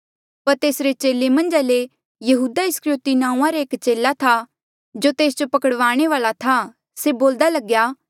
पर तेसरे चेले मन्झा ले यहूदा इस्करयोति नांऊँआं रा एक चेला था जो तेस जो पकड़वाणे वाल्आ था से बोल्दा लग्या